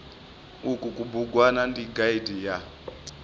uku kubugwana ndi gaidi ya